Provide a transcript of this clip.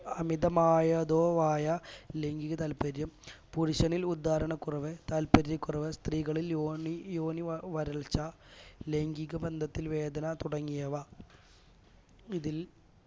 അമിതമായതോ ആയ ലൈംഗിക താല്പര്യം പുരുഷനിൽ ഉദ്ധാരണക്കുറവ് താല്പര്യക്കുറവ് സ്ത്രീകളിൽ യോനി യോനിവരൾച്ച ലൈംഗിക ബന്ധത്തിൽ വേദന തുടങ്ങിയവ ഇതിൽ